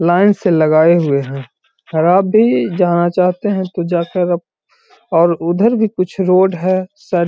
line से लगाए हुए है और आप भी जहां जाते है तो जाकर अप और उधर भी कुछ रोड है सा --